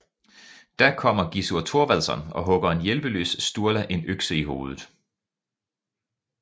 Da kommer Gizzurr Torvaldsson og hugger en hjælpeløs Sturla en økse i hovedet